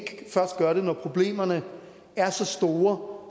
først gør det når problemerne er så store